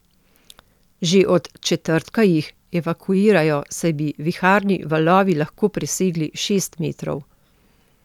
Že od četrtka jih evakuirajo, saj bi viharni valovi lahko presegli šest metrov.